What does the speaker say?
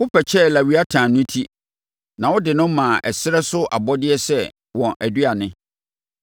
Wopɛkyɛɛ Lewiatan no ti na wode no maa ɛserɛ so abɔdeɛ sɛ wɔn aduane.